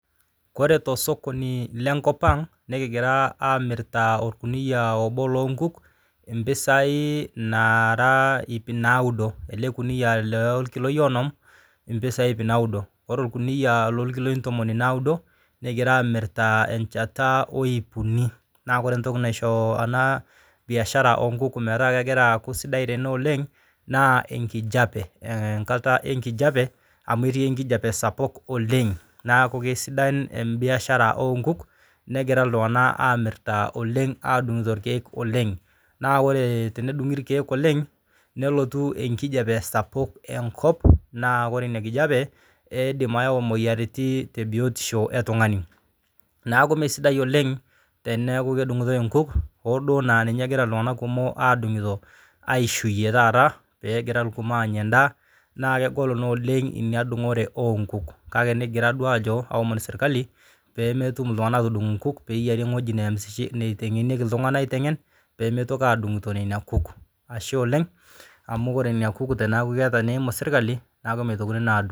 Ore tosokoni le nkopang' nikigira aamirita olkuniya lobo loo nkuk te mpisai naara ip naudo, ale lkuniya loo lkiloi onom, mpisai iip naudo. Ore lkuniya loo lkiloi ntomonu naudo kigira aamirta enchata oip uni, naa kore ntoki naisoo ana mbiashara oonkuk metaa kegira aaku sidai tene oleng, naa enkijape, amu etii enkijepe sapuk oleng, naaku kesidan embiashara oonkuk, negira ltungana aamirita oleng adung'to irkeek oleng, naa kore tenedung'i irkeek oleng, nelotu enkijape sapuk enkop, naa kore ina nkijape eidim ayau imoyiaritin te biotisho eltungani. Neaku mesidai oleng teneaku kedung'utoi inkuk oosuo naa ninye egira ltunganka kumok aadung'uto aishuuye taata peegira lkumok agira aanya indaa, naa kegol naa oleng inia ndung'ore oonkuk kake negira duo aajo aaomon sirkali peemetum ltungana aatudung' inkuk, peeyari weji neansishe neitengenieki ltungana aitengen pemeitoki aadung'tonena nkuk, ashe oleng amu kore inia nkuuk tenaku keeta neimu sirkali naaku meitokini naa aadung'.